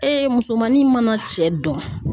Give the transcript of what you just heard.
musomanin mana cɛ dɔn